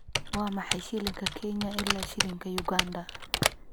Waa maxay shilinka Kenya ilaa shilinka Uganda?